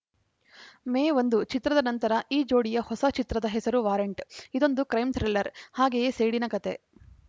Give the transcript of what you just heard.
ಮೇ ಒಂದು ಚಿತ್ರದ ನಂತರ ಈ ಜೋಡಿಯ ಹೊಸ ಚಿತ್ರದ ಹೆಸರು ವಾರಂಟ್‌ ಇದೊಂದು ಕ್ರೈಮ್‌ ಥ್ರಿಲ್ಲರ್‌ ಹಾಗೆಯೇ ಸೇಡಿನ ಕತೆ